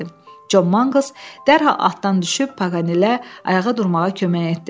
Con Manqls dərhal atdan düşüb, Paqanelə ayağa durmağa kömək etdi.